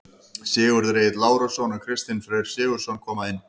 Sigurður Egill Lárusson og Kristinn Freyr Sigurðsson koma inn.